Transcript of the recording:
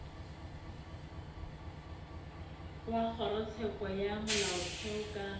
wa kgorotsheko ya molaotheo ka